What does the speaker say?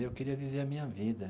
Eu queria viver a minha vida.